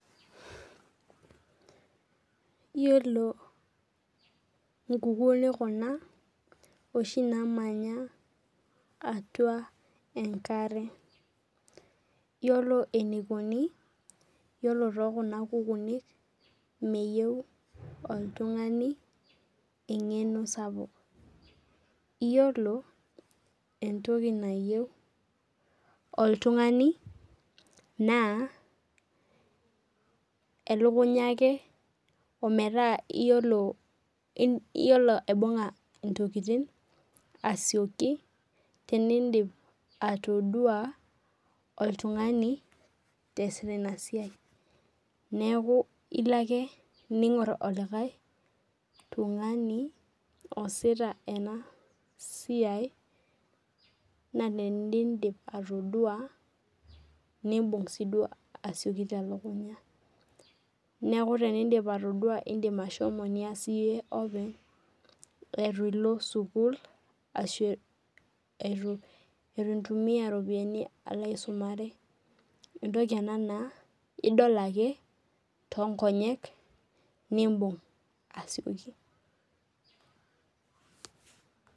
Iyiolo inkukuni kuna oshi naamanya atua enkare, iyiolo eneikuni yiolo too kuna kukuni, meyou oltung'ani eng'eno sapuk, iyiolo entoki nayieu oltung'ani ake naa elukunya ake metaa iyiolo aibung'a intokitin asioki tenindip atodua, oltung'ani easita ina siai, neaku ilo ake ning'or oltung'ani oasita ena siai naa tenindip atodua nimbung' sii duo telukunya. Neaku ore tenindip atodua naa ilo iyie nias iyie openy eitu ilo sukuul ashu eitu intumiya iropiani ilo aisumare, entoki ena naa idol ake too inkonyek, nimbung asioki.